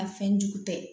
A fɛn jugu tɛ